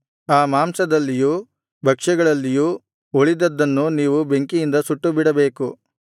ಆ ಮಾಂಸದಲ್ಲಿಯೂ ಭಕ್ಷ್ಯಗಳಲ್ಲಿಯೂ ಉಳಿದದ್ದನ್ನು ನೀವು ಬೆಂಕಿಯಿಂದ ಸುಟ್ಟುಬಿಡಬೇಕು